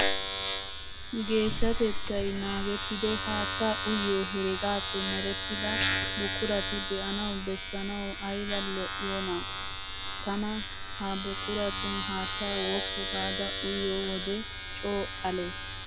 Geeshshatettayi naagettido haattaa uyiyoo heregappe merettidaa buqurati be''ana bessanawu ayiba lo''iyoonaam. Tana ha buqquratun haattaa woppu gaada uyyiyoo wodee coo ales.